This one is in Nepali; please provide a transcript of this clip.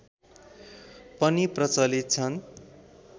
पनि प्रचलित छन्